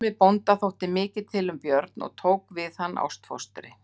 Ormi bónda þótti mikið til um Björn og tók við hann ástfóstri.